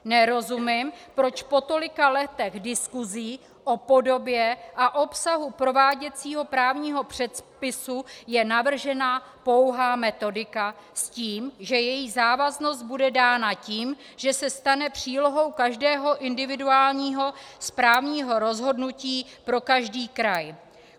Nerozumím, proč po tolika letech diskusí o podobě a obsahu prováděcího právního předpisu je navržena pouhá metodika s tím, že její závaznost bude dána tím, že se stane přílohou každého individuálního správního rozhodnutí pro každý kraj.